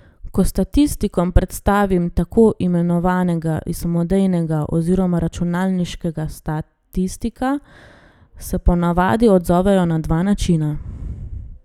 Ko statistikom predstavim tako imenovanega samodejnega oziroma računalniškega statistika, se ponavadi odzovejo na dva načina.